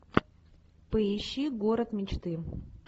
поищи город мечты